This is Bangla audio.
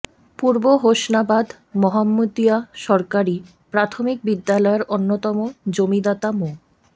পূর্ব হোসনাবাদ মোহাম্মদীয়া সরকারি প্রাথমিক বিদ্যালয়ের অন্যতম জমিদাতা মো